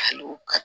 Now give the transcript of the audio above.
Hali